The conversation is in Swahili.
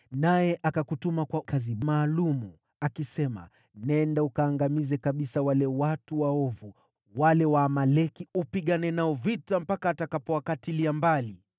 Naye akakutuma kwa kazi maalum, akisema, ‘Nenda ukaangamize kabisa wale watu waovu, wale Waamaleki, upigane nao vita mpaka utakapowaangamiza kabisa.’